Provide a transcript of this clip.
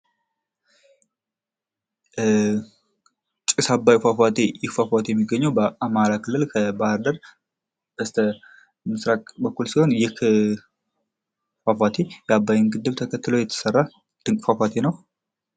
ጭስ አባይ ፏፏቴ ይህ ፏፏቴ የሚገኘው በአማራ ክልል ከባህር ዳር በስተ ምስራቅ በኩል የሚገኝ ይህ ፋፋቴ የአባይን ግድብ ተከትሎ የተሰራ ሲሆን በጣም ድንቅ ፏፏቴ ነው።